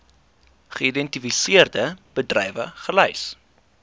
geïdentifiseerde bedrywe gelys